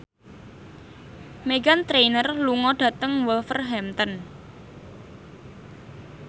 Meghan Trainor lunga dhateng Wolverhampton